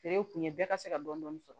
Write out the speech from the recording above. Feere kun ye bɛɛ ka se ka dɔni dɔni sɔrɔ